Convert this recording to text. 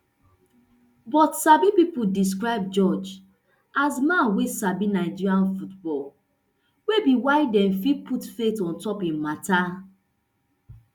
but sabi pipo describe george as a man wey sabi nigerian football wey be whydi nff put faith on top im mata